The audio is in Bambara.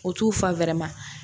O t'u fa